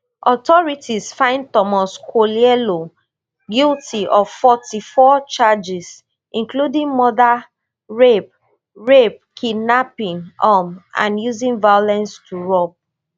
authorities find thomas kwoyelo guilty of forty-four charges including murder rape rape kidnapping um and using violence to rob